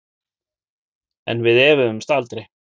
En við efuðumst aldrei.